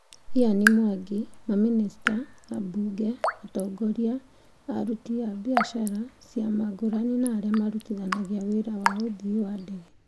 Ian Mwangi, mamĩnĩsta, ambunge, atongoria a aruti biacara, ciama ngũrani na arĩa mararutithania wĩra wa ũthii wa ndege.